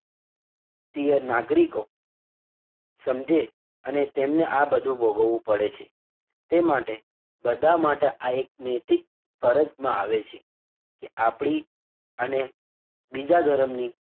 ભારતીય નાગરિકો સમજે અને તેમને આ બધું ભોગવવું પડે છે તે માટે બધાં માટે આ એક નૈતિક ફરજમાં આવે છે કે આપડી અને બીજા ધર્મ ની,